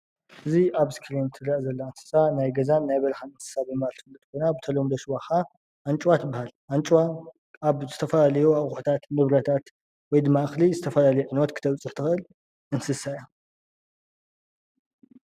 እዚ ኣብ እስክሪን ትረአ ዘላ እንስሳ ናይ ገዛን ናይ በረኻን እንስሳ ድማ ኮይና ብተለምዶ ሽማ ኸኣ ኣንጭዋ ትበሃል፡፡ ኣንጭዋ ኣብ ዝተፈላለዩ ኣቑሑታት፣ ንብረታት ወይ ድማ እኽሊ ዝተፈላለዩ ዕንወት ክተብፅሕ ትኽእል እንስሳ እያ፡፡